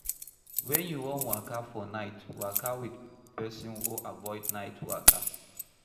When you wan waka for night, waka with person or avoid night waka